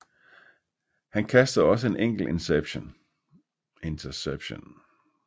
Han kastede også en enkelt interception